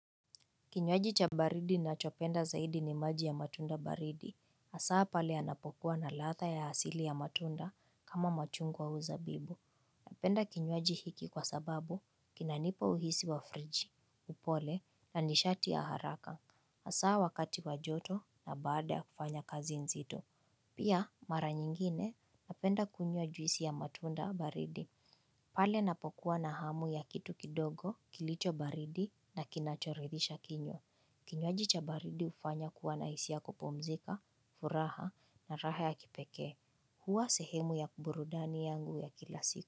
Kinywaji cha baridi nachopenda zaidi ni maji ya matunda baridi, asaa pale yanapokuwa na ladha ya asili ya matunda kama machungwa au zabibu. Napenda kinywaji hiki kwa sababu, kinanipa uhisi wa friji, upole, na nishati ya haraka, asaa wakati wa joto na baada ya kufanya kazi nzitu. Pia, mara nyingine, napenda kunywa juisi ya matunda baridi. Pale napokuwa na hamu ya kitu kidogo, kilicho baridi na kinachoridisha kinywa. Kinywaji cha baridi hufanya kuwa na isia ya kupumzika, furaha na raha ya kipekee. Hua sehemu ya burudani yangu ya kila siku.